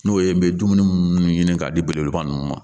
N'o ye n bɛ dumuni minnu ɲini k'a di belebeleba ninnu ma